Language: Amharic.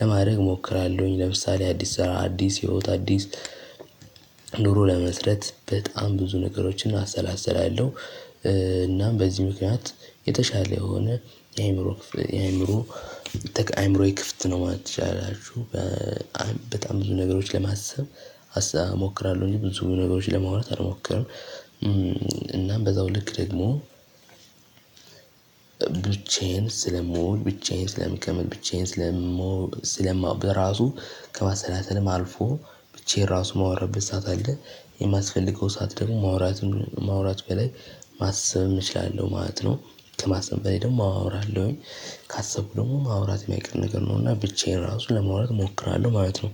ለማድረግ እሞክራለሁኝ። ለምሳሌ አዲስ አዲስ የህይወት አዲስ ኑሮ ለመመስረት በጣም ብዙ ነገሮችን አሰላስላለሁ። እናም በዚህ ምክንያት የተሻለ የሆነ የአእምሮ ክፍል የአእምሮ አእምሮዬ ክፍት ነው። ትችላችሁ በጣም ብዙ ነገሮች ለማሰብ አስታ እሞክራለሁ እንጂ ብዙ ነገሮች ለማውራት አልሞክርም። እናም በዛው ልክ ደግሞ ብቻዬን ስለምውል ብቻዬን ስለምቀመጥ ብቻዬን ስለምሆን ስለማውቅ በራሱ ከማሰላሰልም አልፎ ብቻዬን ራሱ የማወራበት ሰዓት አለ። የማስፈልገው ሰዓት ደግሞ ማውራትን ማውራት በላይ ማሰብም እችላለሁ ማለት ነው። ከማሰብ በላይ ደግሞ አወራለሁኝ። ካሰብኩ ደግሞ ማውራት የማይቀር ነገር ነው። እና ብቻዬን ራሱ ለማውራት እሞክራለሁ ማለት ነው